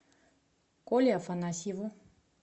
коле афанасьеву